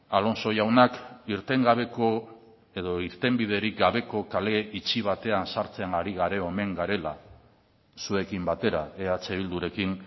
alonso jaunak irten gabeko edo irtenbiderik gabeko kale itxi batean sartzean ari omen garela zuekin batera eh bildurekin